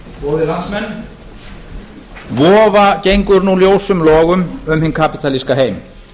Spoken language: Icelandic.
spólu góðir landsmenn vofa gengur nú ljósum logum um hinn kapítalíska heim